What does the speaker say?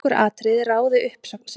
Nokkur atriði ráði uppsögn sinni.